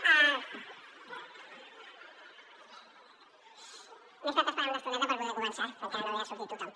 m’he estat esperant una estoneta per poder començar però encara no havia sortit tothom